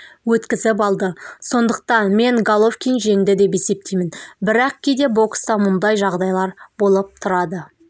өткізіп алды сондықтан мен головкин жеңді деп есептеймін бірақ кейде бокста мұндай жағдайлар болып тұрады